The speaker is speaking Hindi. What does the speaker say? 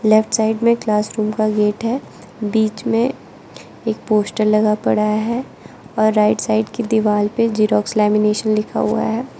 लेफ्ट साइड में क्लास रूम का गेट है बीच में एक पोस्टर लगा पड़ा है और राइट साइड की दीवाल पे जेरॉक्स लेमिनेशन लिखा हुआ है।